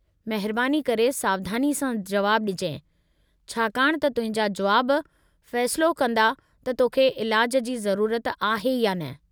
महिरबानी करे सावधानी सां जुवाबु ॾिजांइ, छाकाणि त तुंहिंजा जुवाब फ़ैसिलो कंदा त तोखे इलाजु जी ज़रूरत आहे या न।